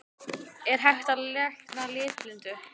Er hægt að lækna litblindu?